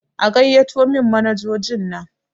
A gaiyato min manajojin nan!